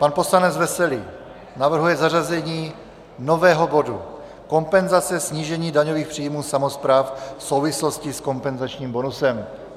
Pan poslanec Veselý navrhuje zařazení nového bodu Kompenzace snížení daňových příjmů samospráv v souvislosti s kompenzačním bonusem.